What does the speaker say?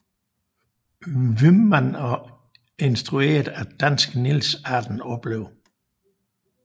Wyman og instrueret af danske Niels Arden Oplev